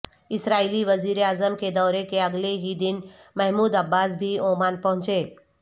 اسرائیلی وزیر اعظم کے دورے کے اگلے ہی دن محمود عباس بھی عمان پہنچے